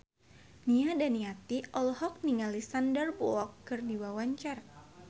Nia Daniati olohok ningali Sandar Bullock keur diwawancara